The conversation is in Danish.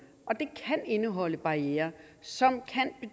indeholde barrierer som kan